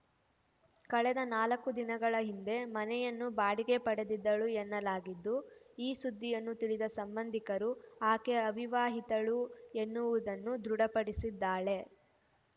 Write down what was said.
ಕಳೆದ ನಾಲ್ಕು ದಿನಗಳ ಹಿಂದೆ ಮನೆಯನ್ನು ಬಾಡಿಗೆ ಪಡೆದಿದ್ದಳು ಎನ್ನಲಾಗಿದ್ದು ಈ ಸುದ್ದಿಯನ್ನು ತಿಳಿದ ಸಂಬಂಧಿಕರು ಆಕೆ ಅವಿವಾಹಿತಳು ಎನ್ನುವುದನ್ನು ದೃಢಪಡಿಸಿದ್ದಾಳೆ